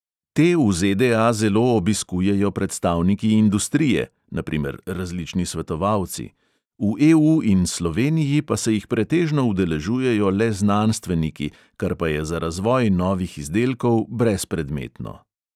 Te v ZDA zelo obiskujejo predstavniki industrije (na primer različni svetovalci), v EU in sloveniji pa se jih pretežno udeležujejo le znanstveniki, kar pa je za razvoj novih izdelkov brezpredmetno.